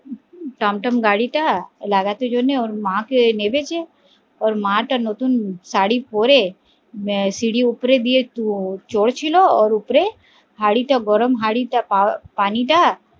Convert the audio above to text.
Tom Tom গাড়ি তা লাগানোর জন্যে ওর মা কে নেমেছে ওর মা তা নতুন শাড়ি পরে সিঁড়ি উপরে দিয়ে চলছিল ওর উপরে গরম হাড়িটা পানিটা